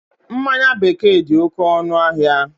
Mmanya bekee dị oké ọnụ ahịa